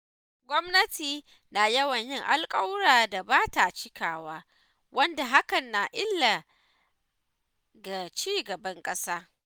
Gwamnati na yawan yin alƙawuran da ba ta cikawa, wanda hakan na illa ga cigaban ƙasa.